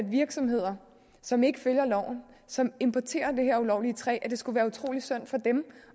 virksomheder som ikke følger loven og som importerer det her ulovlige træ